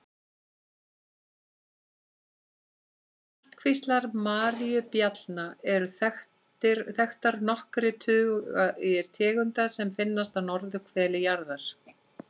Innan ættkvíslar maríubjallna eru þekktar nokkrir tugir tegunda sem finnast á norðurhveli jarðar.